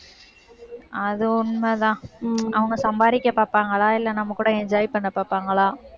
அது உண்மைதான். அவங்க சம்பாதிக்க பார்ப்பாங்களா? இல்லை, நம்ம கூட enjoy பண்ண பாப்பாங்களா?